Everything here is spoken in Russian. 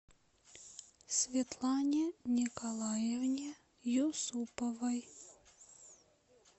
светлане николаевне юсуповой